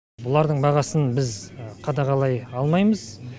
бұлардың бағасын біз қадағалай алмаймыз